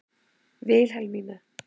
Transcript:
Vilhelmína